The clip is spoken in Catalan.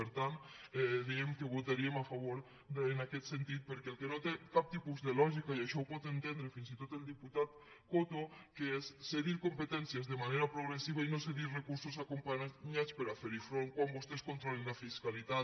per tant dèiem que hi votaríem a favor en aquest sentit perquè el que no té cap tipus de lògica i això ho pot entendre fins i tot el diputat coto és cedir competències de manera progressiva i no cedir recursos acompanyats per a fer hi front quan vostès controlen la fiscalitat